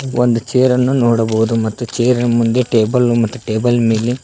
ಒಂದ ಚೇರ್ ನ್ನ ನೋಡಬಹುದು ಮತ್ತು ಚೇರ್ ನ ಮುಂದೆ ಟೇಬಲು ಮತ್ತು ಟೇಬಲ್ ಮೇಲೆ--